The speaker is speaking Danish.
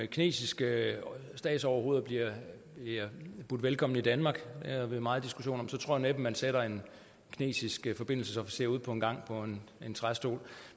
kinesiske statsoverhoveder bliver budt velkommen i danmark det havde vi meget diskussion om tror jeg næppe man sætter en kinesisk forbindelsesofficer ude på en gang på en træstol